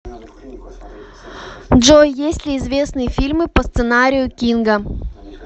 джой есть ли известные фильмы по сценарию кинга